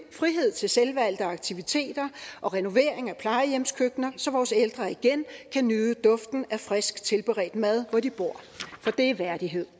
frihed til selvvalgte aktiviteter og renovering af plejehjemskøkkener så vores ældre igen kan nyde duften af frisk tilberedt mad hvor de bor for det er værdighed